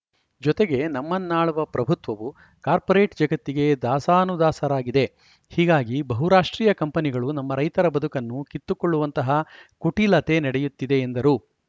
ಜೊತೆಗೆ ನಮ್ಮನ್ನಾಳುವ ಪ್ರಭುತ್ವವು ಕಾರ್ಪೋರೇಟ್‌ ಜಗತ್ತಿಗೆ ದಾಸಾನುದಾಸರಾಗಿದೆ ಹೀಗಾಗಿ ಬಹುರಾಷ್ಟ್ರೀಯ ಕಂಪನಿಗಳು ನಮ್ಮ ರೈತರ ಬದುಕನ್ನು ಕಿತ್ತುಕೊಳ್ಳುವಂತಹ ಕುಟಿಲತೆ ನಡೆಯುತ್ತಿದೆ ಎಂದರು